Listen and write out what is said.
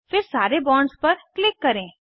फिर सारे बॉन्ड्स पर क्लिक करें